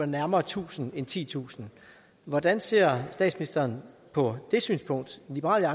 nærmere tusind end titusind hvordan ser statsministeren på det synspunkt i liberal